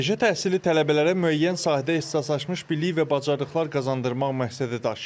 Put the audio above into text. Peşə təhsili tələbələrə müəyyən sahədə ixtisaslaşmış bilik və bacarıqlar qazandırmaq məqsədi daşıyır.